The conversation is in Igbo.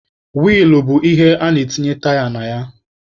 Wiilụ bụ ihe ana-etinye taya na ya.